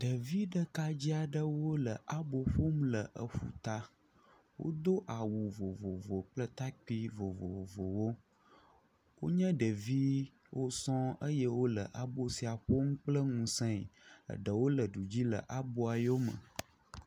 Ɖevi ɖekadze aɖewo le abɔ ƒom le eƒuta, wodo awu vovovo kple takpui vovovowo, wonye ɖeviwo sɔŋ eye wole abo sia ƒom kpl ŋusẽ, eɖewo le du dzi le aboa yome